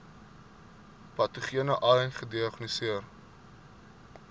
patogene ai gediagnoseer